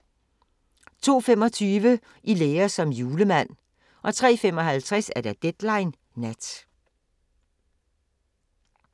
02:25: I lære som julemand 03:55: Deadline Nat